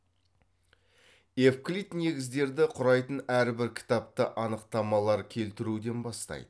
евклид негіздерді құрайтын әрбір кітапты анықтамалар келтіруден бастайды